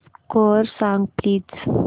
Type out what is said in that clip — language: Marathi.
स्कोअर सांग प्लीज